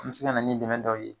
An be se ka na ni dɛmɛ dɔw ye